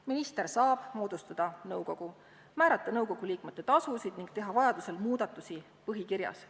Minister saab moodustada nõukogu, määrata nõukogu liikmete tasud ning teha vajaduse korral muudatusi põhikirjas.